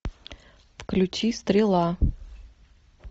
включи стрела